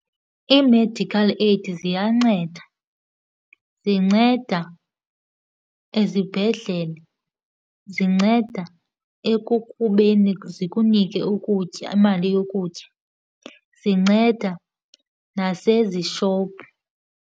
Ii-medical aid ziyanceda. Zinceda ezibhedlele, zinceda ekukubeni zikunike ukutya imali yokutya, zinceda nasezishopu.